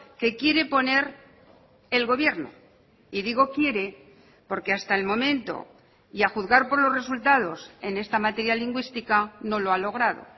que quiere poner el gobierno y digo quiere porque hasta el momento y a juzgar por los resultados en esta materia lingüística no lo ha logrado